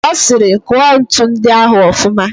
Ọ sịrị, kụọ ntu ndị ahụ ọfụma